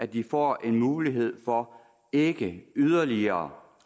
de får mulighed for ikke yderligere